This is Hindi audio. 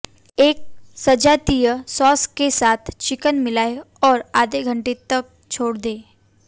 एक सजातीय सॉस के साथ चिकन मिलाएं और आधे घंटे तक छोड़ दें